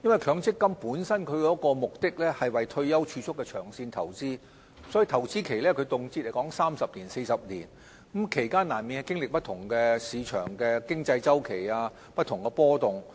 強積金本身是為退休儲蓄目的而作的長線投資，所以投資期動輒三四十年，其間難免經歷市場的經濟周期及不同的波動。